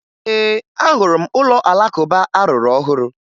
Ee, ahụrụ m ụlọ Alakụba a rụrụ ọhụrụ